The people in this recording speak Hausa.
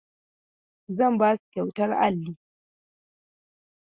Zan ba su kyautar alli.